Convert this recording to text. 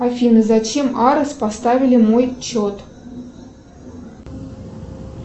афина зачем арес поставили мой чет